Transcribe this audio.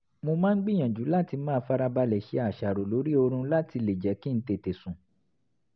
mo máa ń gbìyànjú láti máa farabalẹ̀ ṣe àṣàrò lórí oorun láti lè jẹ́ kí n tètè sùn